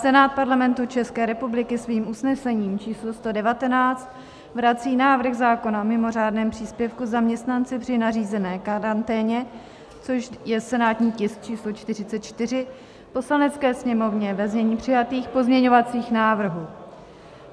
Senát Parlamentu České republiky svým usnesením číslo 119 vrací návrh zákona o mimo řádném příspěvku zaměstnanci při nařízené karanténě, což je senátní tisk číslo 44, Poslanecké sněmovně ve znění přijatých pozměňovacích návrhů.